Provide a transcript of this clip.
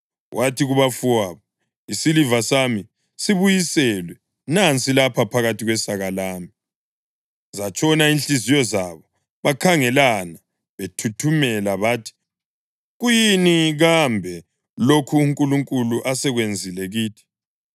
Wathi kubafowabo, “Isiliva sami sibuyiselwe. Nansi lapha phakathi kwesaka lami.” Zatshona inhliziyo zabo bakhangelana bethuthumela bathi, “Kuyini kambe lokhu uNkulunkulu asekwenzile kithi?”